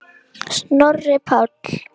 Snorri Páll.